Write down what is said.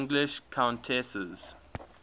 english countesses